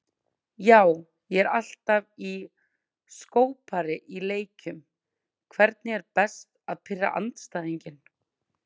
Já, ég er alltaf í skópari í leikjum Hvernig er best að pirra andstæðinginn?